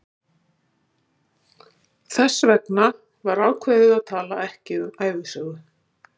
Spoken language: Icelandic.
Þess vegna var ákveðið að tala ekki um ævisögu